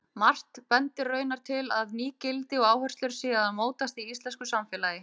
Margt bendir raunar til að ný gildi og áherslur séu að mótast í íslensku samfélagi.